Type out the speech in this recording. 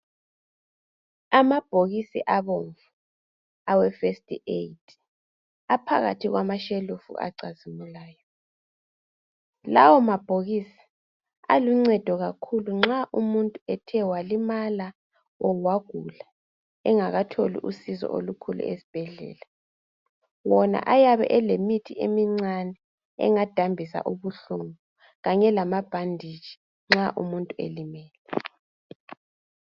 Amabhokisi abomvu awefirst aid aphakathi kwamashelufu acazimulayo . Lawo mabhokisi aluncedo kakhulu nxa umuntu ethe walimala kumbe wagula engakatholi usizo olukhulu esibhedlela. Wona yabe elemithi emincane engadambisa ubuhlungu kanye lamabhanditshi nxa umuntu elimele.